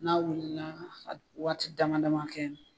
N'a wulila a bi waati dama dama kɛ.